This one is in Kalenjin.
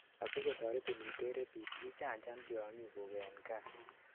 asikotoretin iter rabies ichanchan tiongikuk en kaa